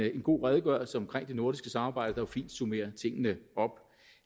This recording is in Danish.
en god redegørelse om det nordiske samarbejde der jo fint summerer tingene op